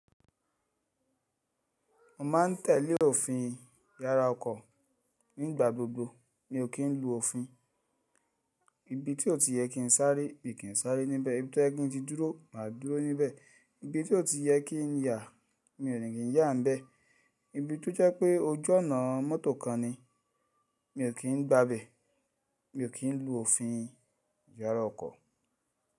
Mo ma ń tẹ̀lé òfin yàrá ọkọ̀. Ní ìgbà gbogbo mi ò kí n lu òfin. Ibi tí ó ti yẹ kí n sáré, mi ò kí n sáré níbẹ̀. Ibi tí ó yẹ kí n ti dúró, mà á dúró níbẹ̀. Ibi tí ó ti yẹ kí n yà, mi ò ní kí n yà ń bẹ. Ibi tó jẹ́ pé ojú ọ̀nà mọ́tò kan ni, mi ò kí n gba ibẹ̀. Mi ò kí n lu òfin yàrá ọkọ̀.